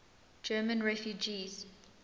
german refugees